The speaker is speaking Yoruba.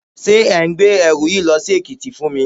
Ṣé ẹ̀ ń gbé ẹrù yìí lọ sí Èkìtì fún mi?